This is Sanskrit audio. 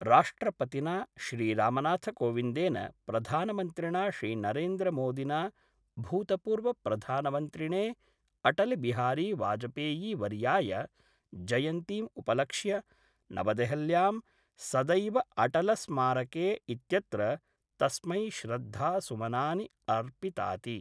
राष्ट्रपतिना श्रीरामनाथकोविंदेन प्रधानमंत्रिणा श्रीनरेन्द्रमोदिना भूतपूर्वप्रधानमन्त्रिणे अटलबिहारी वाजपेयीवर्याय जयन्तीम् उपलक्ष्य नवदेहल्यां सदैवअटलस्मारके इत्यत्र तस्मै श्रद्धासुमनानि अर्पिताति।